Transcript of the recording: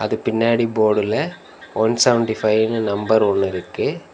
இது பின்னாடி போர்டுல ஒன் செவன்டி ஃபைனு நம்பர் ஒன்னு இருக்கு.